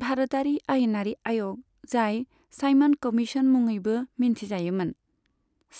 भारतारि आयेनारि आय'ग, जाय साइमन कमीशन मुङैबो मिन्थिजायोमोन,